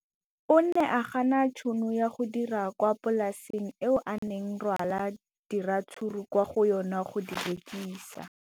O ne a gana tšhono ya go dira kwa polaseng eo a neng rwala diratsuru kwa go yona go di rekisa.